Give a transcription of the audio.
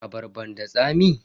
Abarban da tsami?